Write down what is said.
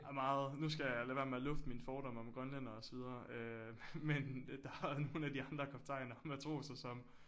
Meget nu skal jeg lade være med at lufte mine fordomme om grønlændere og så videre øh men der er nogle af de andre kaptajner og matroser som øh